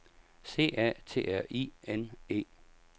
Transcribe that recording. C A T R I N E